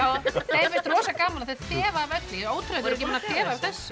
þeim finnst rosa gaman þau þefa af öllu ótrúlegt þau eru ekki búin að þefa af þessu